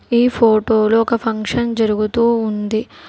ఈ ఫోటోలో ఒక ఫంక్షన్ జరుగుతూ ఉంది.